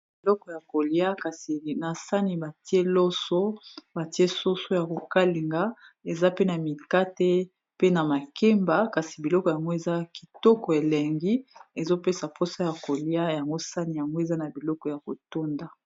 Na biloko ya kolia kasi na sani b ttie loso ba tie soso ya ko kalinga eza pe na mikate pe na makemba kasi biloko yango eza kitoko elengi ezo pesa posa ya kolia yango sani yango eza na biloko ya ko tonda .